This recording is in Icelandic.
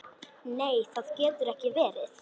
Nei það getur ekki verið.